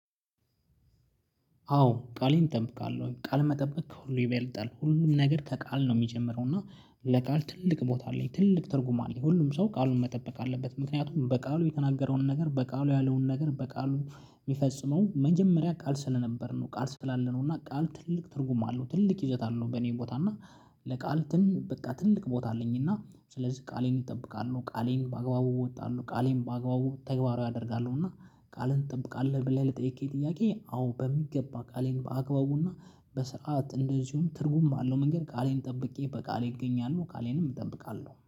አዎ ቃሌን እጠብቃለሁ ቃል መጠበቅ ከሁሉ ይበልጣል ሁሉም ነገር ከቃል ነው የሚጀምረው እና ለቃል ትልቅ ቦታ አለኝ ትልቅ ትርጉም አለኝ ሁሉም ሰው ቃሉን መጠበቅ አለበት። ምክንያቱም በቃሉ የተናገረውን ነገር በቃሉ ያለውን ነገር በቃሉ የሚፈጽመው መጀመሪያ ቃል ስለነበር ነው። ቃል ስላለ ነው። እና ቃል ትልቅ ትርጉም አለው ትልቅ ይዘት አለው። በኔ ቦታ እና ለቃል ትን በቃ ትልቅ ቦታ አለኝ። እና ስለዚህ ቃሌን እጠብቃለሁ። ቃሌን በአግባቡ ወጣሉ ቃሌን በአግባቡ ተግባራዊ ያደርጋሉ እና ቃልን እጠብቃለሁ። ብለህ ለጠይቅ ጥያቄ አዎ በሚገባ ቃሌን በአግባቡና በሰአት እንደዚሁም ትርጉም ባለው መንገድ ቃሌን ጠብቄ በቃሌ እገኛለሁ። ቃሌንም እጠብቃለሁ